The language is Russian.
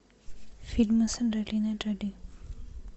фильмы с анджелиной джоли